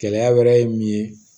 Gɛlɛya wɛrɛ ye min ye